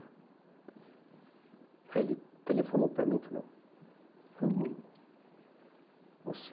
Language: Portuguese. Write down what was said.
Aí ele telefonou para mim e falou... ''O... Você...''